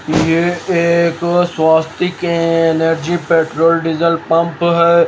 ये एक Swastik energy petrol diesel pump है।